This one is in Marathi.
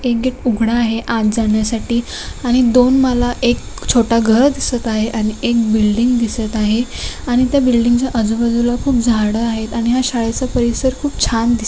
एक गेट उघडा आहे आत जाण्यासाठी आणि दोन मला एक छोटा घर दिसत आहे आणि एक बिल्डिंग दिसत आहे आणि त्या बिल्डिंग च्या आजूबाजूला खूप झाड आहेत आणि या शाळेचा परिसर खुप छान दिसत--